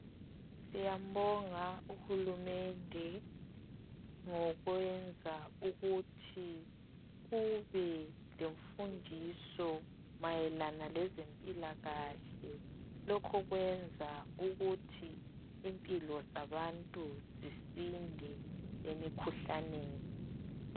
Siyambonga uhulumende ngokwenza ukuthi kubelemfundiso mayelana lezempilakahle, lokhu kwenza ukuthi impilo zabantu zisinde emikhuhlaneni.